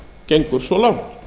gengur svo langt